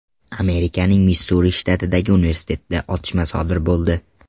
Amerikaning Missuri shtatidagi universitetda otishma sodir bo‘ldi.